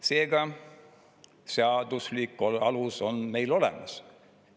Seega seaduslik alus on meil olemas.